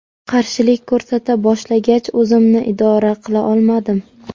Qarshilik ko‘rsata boshlagach o‘zimni idora qila olmadim.